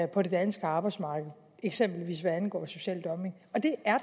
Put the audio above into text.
på det danske arbejdsmarked eksempelvis hvad angår social dumping og det er